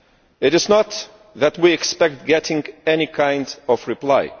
It is not that we expect to get any kind of reply